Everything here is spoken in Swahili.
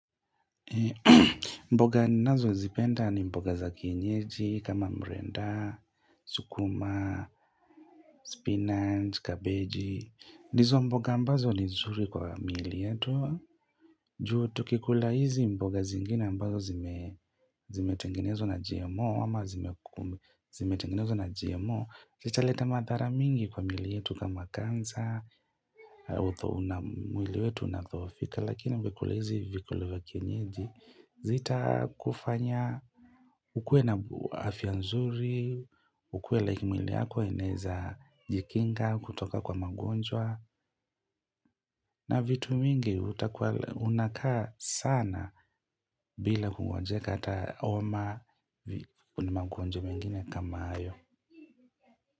Mboga nazozipenda ni mboga za kienyeji kama mrenda, sukuma, spinach, kabeji, ndizo mboga ambazo ni nzuri kwa miili yetu. Juu tukikula hizi mboga zingine ambazo zimetengenezwa na GMO ama zimetengenezwa na GMO. Zitaleta madhara mingi kwa miili yetu kama kansa, na mwili yetu unadhoofika lakini ungekula hizi vyakula za kienyeji zita kufanya ukue na afya nzuri, ukue like mwili yako enaeza jikinga kutoka kwa magonjwa na vitu mingi unakaa sana bila kugonjeka hata homa ni magonjwa mengine kama hayo.